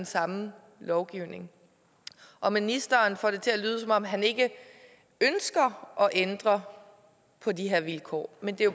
samme lovgivning og ministeren får det til at lyde som om han ikke ønsker at ændre på de her vilkår men det